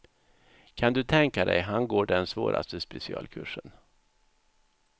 Kan du tänka dig, han går den svåraste specialkursen.